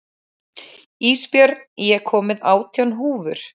Ísbjörn, ég kom með átján húfur!